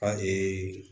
A ee